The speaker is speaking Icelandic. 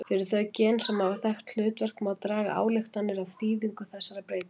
Fyrir þau gen sem hafa þekkt hlutverk má draga ályktanir af þýðingu þessara breytinga.